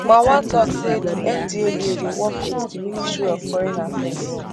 marwa tok say di ndlea dey work wit di ministry of foreign affairs